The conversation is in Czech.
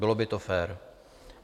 Bylo by to fér.